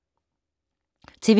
TV 2